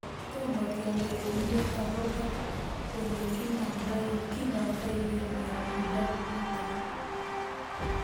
Tomo kenai komie akopo ole kinamdoikei miondo nitok